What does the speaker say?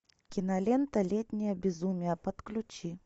кинолента летнее безумие подключи